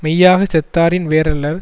மெய்யாகச் செத்தாரின் வேறல்லர்